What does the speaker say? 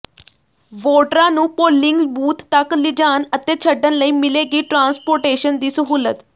ਵੋਟਰਾਂ ਨੂੰ polling booth ਤੱਕ ਲਿਜਾਣ ਅਤੇ ਛੱਡਣ ਲਈ ਮਿਲੇਗੀ ਟਰਾਂਸਪੋਟੇਸ਼ਨ ਦੀ ਸਹੂਲਤ